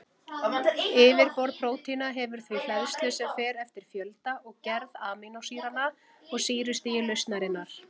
Yfirborð prótína hefur því hleðslu sem fer eftir fjölda og gerð amínósýranna og sýrustigi lausnarinnar.